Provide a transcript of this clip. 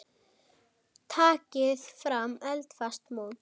Takið fram eldfast mót.